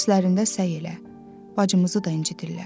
Dərslərində səy elə, bacımızı da incidirlər.